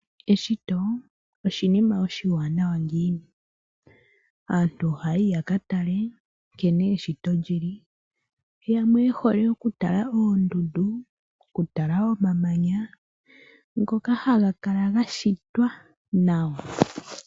Eshito oshinima oshiwanawa ngiini, aantu ohaayi ya katale nkene eshito lyili, yamwe yehole iye okutala oondudu, okutala omamanya ngoko haga kala gashitwa nawa.